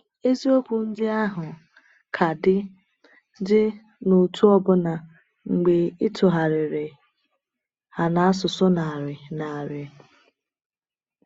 Eziokwu ndị ahụ ka dị dị n’otu ọbụna mgbe e tụgharịrị ha n’asụsụ narị narị.